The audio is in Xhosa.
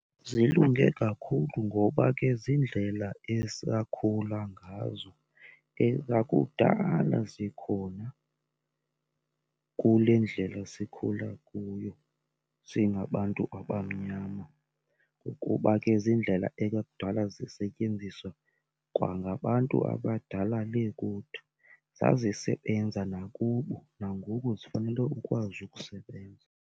Zilunge kakhulu ngoba ke ziindlela esakhula ngazo, ezakudala zikhona kule ndlela sikhula kuyo singabantu abamnyama, ukuba ke ziindlela ekwakudala zisetyenziswa kwangabantu abadala le kude. Zazisebenzisa nakubo nangoku zifanele ukwazi ukusebenza.